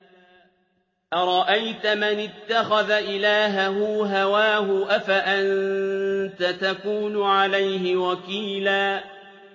أَرَأَيْتَ مَنِ اتَّخَذَ إِلَٰهَهُ هَوَاهُ أَفَأَنتَ تَكُونُ عَلَيْهِ وَكِيلًا